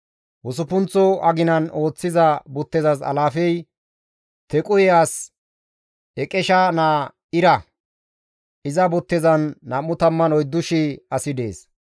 Usuppunththo aginan ooththiza buttezas alaafey Tequhe as Iqesha naa Ira; iza buttezan 24,000 asi dees.